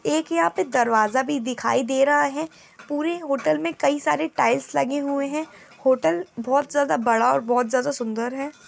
एक यहां पे दरवाजा भी दिखाई दे रहा है। पूरे होटल में कई सारे टाइल्स लगे हुए हैं। होटल बहुत ज्यादा बड़ा और बहुत ज्यादा सुंदर है।